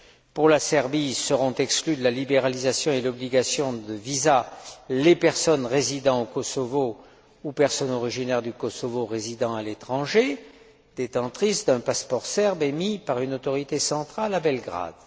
Pour la Serbie, seront exclues de la libéralisation et soumises à l'obligation de visa les personnes résidant au Kosovo ou les personnes originaires du Kosovo résidant à l'étranger, détentrices d'un passeport serbe émis par une autorité centrale à Belgrade.